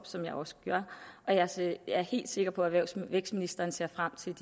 som jeg også gør jeg er helt sikker på at erhvervs og vækstministeren ser frem til